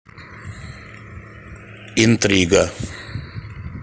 интрига